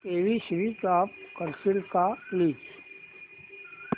TV switch off करशील का please